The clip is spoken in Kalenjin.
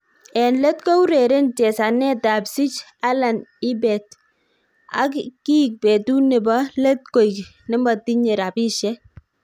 En let koureren chesanetab sich alan ibeet, ak kiik betut nebo let koik nemotinye rabisiek